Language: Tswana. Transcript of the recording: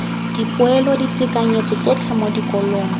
dipoelo ditekanyetso tsotlhe mo dikolong